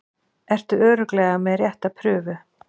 Ertu örugglega með rétta prufu?